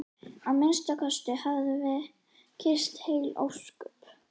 Að minnsta kosti höfðum við kysst heil ósköp.